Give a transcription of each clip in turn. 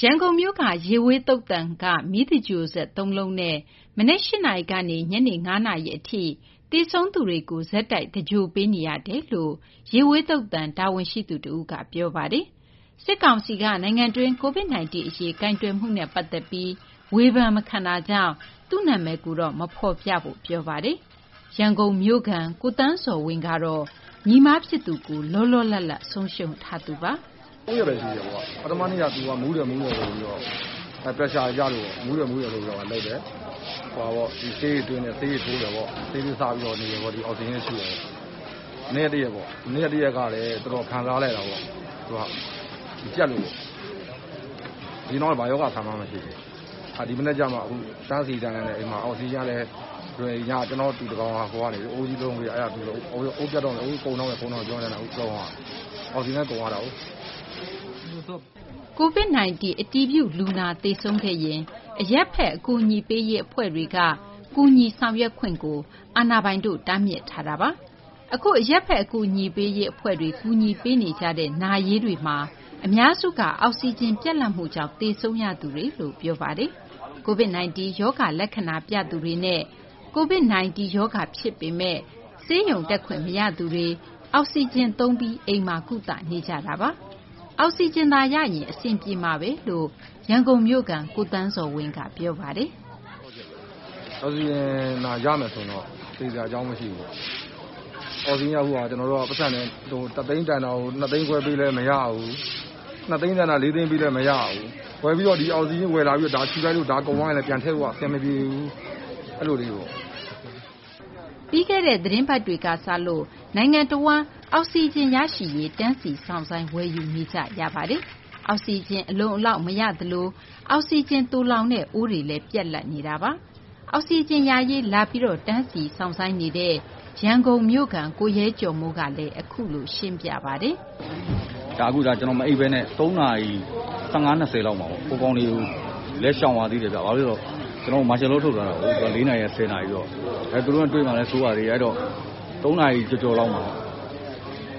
ရန်ကုန်မြို့ ရေဝေး သုသာန်က မီသင်္ဂြ ိုဟ်စက် ၃ လုံးနဲ့ မနက် ၈ နာရီကနေ ညနေ ၅ နာရီ အထိ သေဆုံးသူတွေကို ဆက်တိုက် သင်္ဂြ ိုဟ်ပေးနေရတယ်လို့ ရေဝေး သုသာန် တာဝန်ရှိသူ တဦးက ပြောပါတယ်။ စစ်ကောင်စီက နိုင်ငံတွင်း Covid-19 အရေး ကိုင်တွယ်မှုနဲ့ ပတ်သက်ပြီး ဝေဖန်မခံတာကြောင့် သူ့နာမည်ကိုတော့ မဖော်ပြဖို့ အဲဒီ တာဝန်ရှိသူက ပြောပါတယ်။ ရန်ကုန်မြို့ခံ ကိုသန်းဇော်ဝင်း ကတော့ ညီမဖြစ်သူကို လောလောလတ်လတ် ဆုံးရှုံးလိုက်ရသူပါ။ "၃ ရက်ဘဲ ရှိသေးတယ်။ ပထမနေ့က သူက မူးတယ် မူးတယ် ဆိုပြီးတော့ Pressure ကျလို့ပေါ့။ မူးတယ် မူးတယ် ဆိုပြီးတော့ ဆေးတွေ ထိုးတယ် ဆေးတွေ သွင်းတယ်ပေါ့။ ဆေးလေး စားပြီး နေတယ်ပေါ့။ ဒီ အောက်ဆီဂျင်လေး ရှုနေတယ်ပေါ့။ မနေ့က တရက်ပေါ့။ မနေ့က တရက်ကလည်း တော်တော် ခံစားလိုက်ရတာပေါ့။ သူက ကြပ်လို့။ အရင်ကတော့ ဘာရောဂါ အခံမှ မရှိဘူး။ အဲဒါ ဒီမနက်ကျမှ တန်းစီရင်း တန်းလန်နဲ့ အိမ်မှာ ကျနော့် တူ တယောက်က အိုးကြီး တလုံးပေးထားတာ။ အဲဒါ အခု ကုန်တော့မယ် ကုန်တော့မယ် ပြောနေရင်းနဲ့ အခု ဆုံးသွားတာ။ အောက်ဆီဂျင်လည်း ကုန်သွားတာကိုး" Covid-19 အတည်ပြု လူနာသေဆုံးခဲ့ရင် အရပ်ဘက် အကူအညီပေးရေး အဖွဲ့တွေက ကူညီဆောင်ရွက်ခွင့်ကို အာဏာပိုင်တို့က တားမြစ်ထားတာပါ။ အခု အရပ်ဘက် အကူအညီပေးရေး အဖွဲ့တွေက ကူညီပေးနေတဲ့ နာရေးတွေမှာ အများစုက အောက်ဆီဂျင် ပြတ်လပ်မှုကြောင့် သေဆုံးရသူတွေလို့ ပြောပါတယ်။ Covid-19 ရောဂါ လက္ခဏာတွေ ပြသူတွေနဲ့ Covid-19 ရောဂါ ဖြစ်ပေမယ့် ဆေးရုံတက်ခွင့် မရသူတွေ အောက်ဆီဂျင်သုံးပြီး အိမ်မှာ ကုသနေကြတာပါ။ အောက်ဆီဂျင်သာ ရရင် အဆင်ပြေမှာဘဲလို့ ရန်ကုန်မြို့ခံ ကိုသန်းဇော်ဝင်း က ပြောပါတယ်။ " အောက်ဆီဂျင်သာ ရမယ်ဆိုရင်တော့ သေစရာ အကြောင်း မရှိဘူးပေါ့နော်။ အောက်ဆီဂျင်က အခုဟာ ကျနော်တို့က ပိုက်ဆံ ၁ သိန်းတန်တာကို ၂ သိန်းခွဲ ပေးလည်း မရဘူး။ ၂ သိန်း တန်တာကို ၄ သိန်းပေးလည်း မရဘူး။ ဝယ်ပြီးတော့ ဒီအောက်ဆီဂျင်ကြီး ရှုလိုက်လို့ ဒါကုန်သွားရင်လည်း ပြန်ဖြည့်ဖို့က အဆင်မပြေဘူး။ အဲလို ဖြစ်ကုန်တာ" ပြီးခဲ့တဲ့ သီတင်းပတ်တွေက စလို့ နိုင်ငံတဝန်းမှာ အောက်ဆီဂျင်ရရှိရေး တန်းစီ စောင့်ဆိုင်း ဝယ်ယူနေကြရပါတယ်။ အောက်ဆီဂျင် အလုံအလောက် မရသလို အောက်ဆီဂျင် သိုလှောင်တဲ့ အိုးတွေလည်း ပြတ်လပ်နေတာပါ။ အောက်ဆီဂျင် ရရှိရေး လာပြီး တန်းစီ စောင့်ဆိုင်းနေတဲ့ ရန်ကုန်မြို့ခံ ကိုရဲကျော်မိုး က အခုလို ပြောပါတယ်။ "ကျနော် မအိပ်ဘဲနဲ့ ၃း၁၅ - ၃း၂၀ လောက်မှာ။ ဟိုကောင်တွေကိုလည်း ရှောင်ရသေးတယ်ဗျ။ ဘာဖြစ်လို့လဲ ဆိုတော့ ကျနော်တို့ မာရှယ်လော ထုတ်ထားတာကိုး။ သူတို့နဲ့ တွေ့မှာလည်း စိုးရိမ်ရ သေးတယ်။ အဲတော့ ၃ နာရီ ကျော်ကျော်လောက်မှာ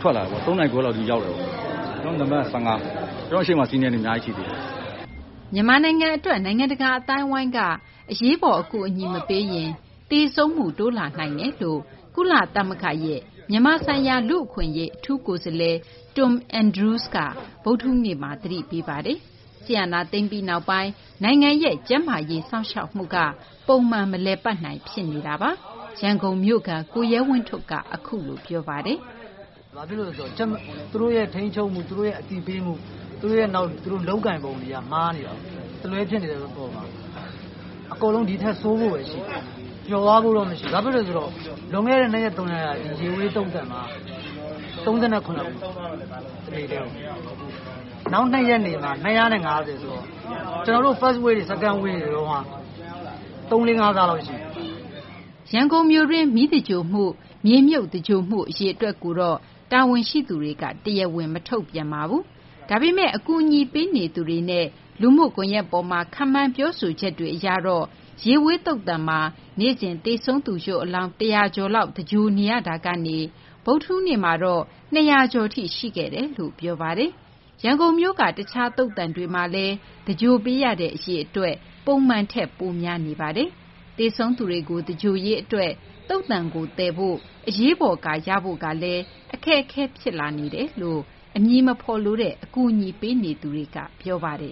ထွက်လာတာပေါ့။ ၃း၃၀ လောက် ဒီရောက်တယ်ပေါ့။ ကျနော်က နံပတ် ၁၅။ ကျနော့်ရှေ့မှာ စီနေတဲ့သူ အများကြီး ရှိသေးတယ်" မြန်မာနိုင်ငံအတွက် နိုင်ငံတကာ အသိုင်းအဝိုင်းက အရေးပေါ် အကူအညီ မပေးရင် သေဆုံးမှု တိုးလာနိုင်ကြောင်း ကုလသမဂ္ဂရဲ့ မြန်မာဆိုင်ရာ လူ့အခွင့်အရေး အထူးကိုယ်စားလှယ် Tom Andrews က ဗုဒ္ဓဟူေးန့မှာ သတိပေးထားပါတယ်။ စစ်အာဏာသိမ်းပြီးနောက်ပိုင်း နိုင်ငံရဲ့ ကျန်းမာရေး စောင့်ရှောက်မှုကလည်း ပုံမှန် မလည်ပတ်နိုင် ဖြစ်နေတာပါ။ ရန်ကုန်မြို့ခံ ကိုရဲဝင်းထွဋ် က အခုလို ပြောပါတယ်။ "ဘာဖြစ်လို့လဲ ဆိုတော့သူတို့ရဲ့ ထိန်းချုပ်မှု၊ သူတို့ရဲ့ အသိပေးမှု၊ နောက် သူတို့ လုပ်ကိုင်ပုံတွေက မှားနေတာကိုး။ တလွဲ ဖြစ်နေတာကိုး။ အကုန်လုံး ဒီထက် ဆိုးဖို့ဘဲ ရှိတယ်။ ကျော်လွှားဖို့ မရှိဘူး။ ဘာဖြစ်လို့လဲ ဆိုတော့ လွန်ခဲ့တဲ့ ၂ ရက် ၃ ရက်က ရေဝေး သုသာန်မှာ ၃၇ လောင်း၊ နောက် ၂ ရက် နေတဲ့ အခါမှာ ၂၅၀ ဆိုတော့ ကျနော်တို့ First wave တွေ Second Wave တွေ တုန်းကထက် ၃-၄-၅ ဆလောက် ရှိတယ်" မီးသင်္ဂြ ိုဟ်မှုနဲ့ မြေမြုပ် သင်္ဂြ ိုဟ်မှု အရေအတွက်ကိုတော့ ရန်ကုန် မြို့တော် တာဝန်ရှိသူတွေက တရားဝင် မထုတ်ပြန်ပါဘူး။ ဒါပေမယ့် အကူအညီပေးနေသူတွေနဲ့ လူမှုကွန်ရက် ပေါ်မှာ ခန့်မှန်း ပြောဆိုချက်တွေ အရတော့ ရေဝေး သုသာန်မှာ နေ့စဉ် သေဆုံးသူ ရုပ်အလောင်း ၁၀၀ ကျော်လောက် သင်္ဂြ ိုဟ် နေရတာကနေ ဗုဒ္ဓဟူးနေ့မှာတော့ ၂၀၀ ကျော်ထိ ရှိခဲ့တယ်လို့ ပြောဆိုကြပါတယ်။ ရန်ကုန်မြို့က တခြား သုသာန်တွေမှာလည်း သင်္ဂြ ိုဟ်ပေးရတဲ့ အရေအတွက် ပုံမှန်ထက် ပိုများနေပါတယ်။ သေဆုံးသူတွေကို သင်္ဂြ ိုဟ်ရေးအတွက် သုသာန်ကို သယ်ယူဖို့ အရေးပေါ်ကား ရဖု့ိကလည်း အခက်အခဲ ဖြစ်လာနေကြောင်း အမည်မဖော်လိုတဲ့ အကူအညီပေးနေသူတွေက ပြောပါတယ်